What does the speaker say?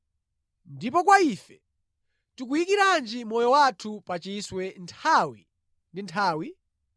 Ndipo kwa ife, tikuyikiranji moyo wathu pachiswe nthawi ndi nthawi?